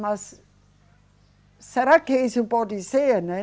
Mas, será que isso pode ser, né?